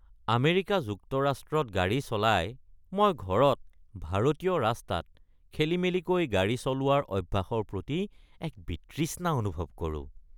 America যুক্তৰাষ্ট্ৰত গাড়ী চলাই, মই ঘৰত, ভাৰতীয় ৰাস্তাত খেলিমেলিকৈ গাড়ী চলোৱাৰ অভ্যাসৰ প্ৰতি এক বিতৃষ্ণা অনুভৱ কৰো।